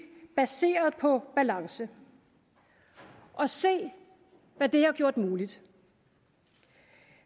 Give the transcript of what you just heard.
baseret på balance og se hvad det har gjort muligt